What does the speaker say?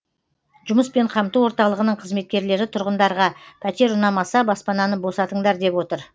жұмыспен қамту орталығының қызметкерлері тұрғындарға пәтер ұнамаса баспананы босатыңдар деп отыр